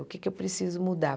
O que é que eu preciso mudar?